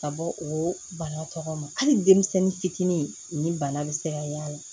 Ka bɔ o bana tɔgɔ ma hali denmisɛnnin fitinin ni bana bɛ se ka y'a la